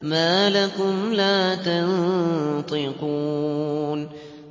مَا لَكُمْ لَا تَنطِقُونَ